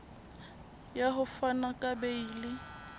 ya ho fana ka beile